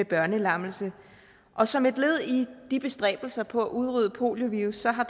børnelammelse og som et led i de bestræbelser på at udrydde poliovirus har